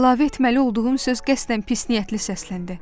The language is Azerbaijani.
Əlavə etməli olduğum söz qəsdən pisniyyətli səsləndi.